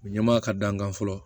Ɲɛmaa ka da n kan fɔlɔ